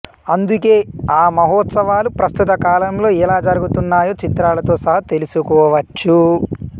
అందుకే ఆ మహోత్సవాలు ప్రస్తుత కాలంలో ఎలా జరుగుతున్నాయో చిత్రాలతో సహా తెలుసుకోవచ్చు